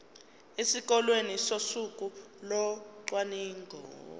esikoleni ngosuku locwaningo